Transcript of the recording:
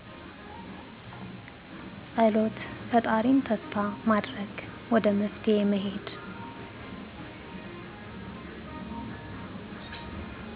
ፀሎት ፈጣሪን ተስፋ ማድረግ ወደ መፍትሔ መሄድ